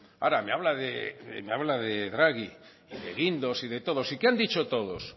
ahora me habla de draghi de guindos y de todos y qué han dicho todos